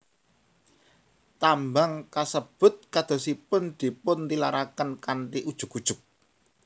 Tambang kasebut kadosipun dipuntilaraken kanthi ujug ujug